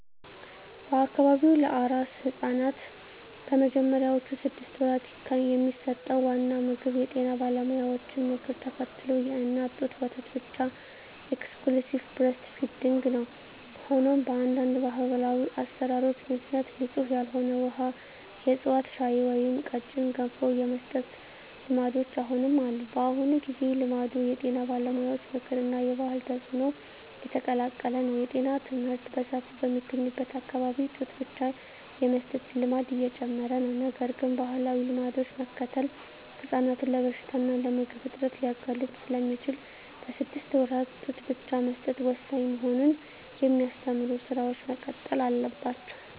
በአካባቢው ለአራስ ሕፃናት በመጀመሪያዎቹ ስድስት ወራት የሚሰጠው ዋና ምግብ የጤና ባለሙያዎችን ምክር ተከትሎ የእናት ጡት ወተት ብቻ (Exclusive Breastfeeding) ነው። ሆኖም፣ በአንዳንድ ባህላዊ አሠራሮች ምክንያት ንጹሕ ያልሆነ ውሃ፣ የዕፅዋት ሻይ ወይም ቀጭን ገንፎ የመስጠት ልማዶች አሁንም አሉ። በአሁኑ ጊዜ፣ ልማዱ የጤና ባለሙያዎች ምክር እና የባህል ተጽዕኖ የተቀላቀለ ነው። የጤና ትምህርት በሰፊው በሚገኝበት አካባቢ ጡት ብቻ የመስጠት ልማድ እየጨመረ ነው። ነገር ግን፣ ባህላዊ ልማዶችን መከተል ሕፃናትን ለበሽታ እና ለምግብ እጥረት ሊያጋልጥ ስለሚችል፣ በስድስት ወራት ጡት ብቻ መስጠት ወሳኝ መሆኑን የሚያስተምሩ ሥራዎች መቀጠል አለባቸው።